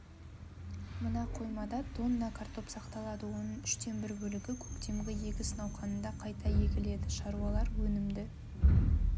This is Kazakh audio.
мына қоймада тонна картоп сақталады оның үштен бір бөлігі көктемгі егіс науқанында қайта егіледі шаруалар өнімді